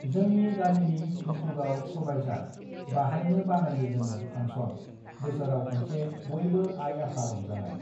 जोंनि गामिनि हुल्तुगाव सबायझार बाहायनो बानायो जोङो फांसन (function) बोसोराव खनसे बयबो आइ-आफा रंजानाय